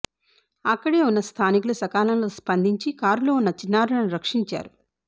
అక్కడే ఉన్న స్థానికులు సకాలంలో స్పందించి కారులో ఉన్న చిన్నారులను రక్షించారు